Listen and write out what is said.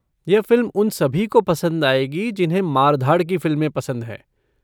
यह फ़िल्म उन सभी को पसंद आएगी जिन्हें मार धाड़ की फ़िल्में पसंद हैं।